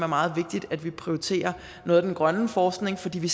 meget vigtigt at vi prioriterer noget af den grønne forskning fordi vi